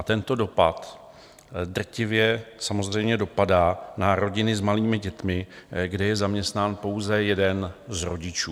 A tento dopad drtivě samozřejmě dopadá na rodiny s malými dětmi, kde je zaměstnán pouze jeden z rodičů.